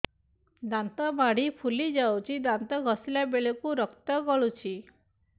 ଦାନ୍ତ ମାଢ଼ୀ ଫୁଲି ଯାଉଛି ଦାନ୍ତ ଘଷିଲା ବେଳକୁ ରକ୍ତ ଗଳୁଛି